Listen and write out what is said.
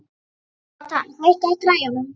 Jónatan, hækkaðu í græjunum.